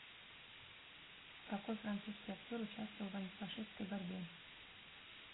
какой французский актер участвовал в антифашистской борьбе